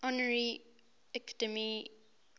honorary academy award